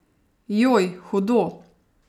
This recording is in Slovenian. Joj, hudo!